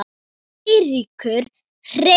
Eiríkur Hreinn.